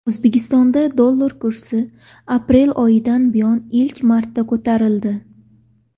O‘zbekistonda dollar kursi aprel oyidan buyon ilk marta ko‘tarildi.